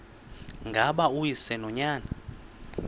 ngaba uyise nonyana